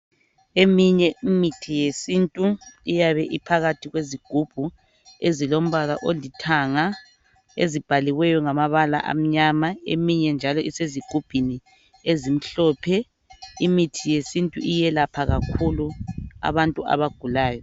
Eminye imithi yesintu iyabe iphakathi kwezigubhu ezilombala olithanga ezibhaliweyo ngamabala amnyama, eminye njalo isezigubhini ezimhlophe imithi yesintu iyelapha kakhulu abantu abagulayo.